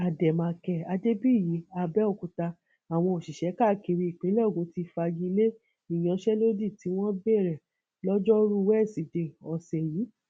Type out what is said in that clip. àdèmàkè adébíyì àbẹòkúta àwọn òṣìṣẹ káàkiri ìpínlẹ ogun ti fagi lé ìyanṣẹlódì tí wọn bẹrẹ lojoruu wẹsidee ọsẹ yìí